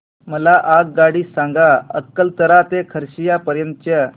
मला आगगाडी सांगा अकलतरा ते खरसिया पर्यंत च्या